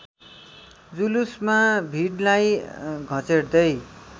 जुलुसमा भिडलाई घचेट्दै